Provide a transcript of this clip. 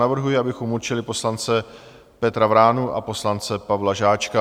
Navrhuji, abychom určili poslance Petra Vránu a poslance Pavla Žáčka.